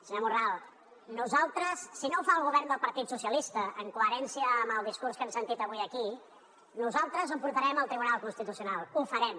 senyor morral nosaltres si no ho fa el govern del partit socialista en coherència amb el discurs que hem sentit avui aquí ho portarem al tribunal constitucional ho farem